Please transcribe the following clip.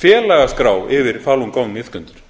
félagaskrá yfir falun gong iðkendur